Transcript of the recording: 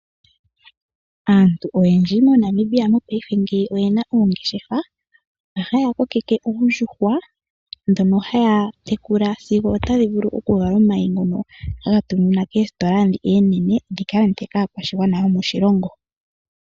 Aantu oyendji moNamibia mongaashingeyi oyena oongeshefa haya kokeke oondjuhwa dhoka haya tekula sigo tadhi vulu okuvala omayi ngoka haga tuminwa koositola oonene gakalandwe kaakwashigwana yomoshilongo.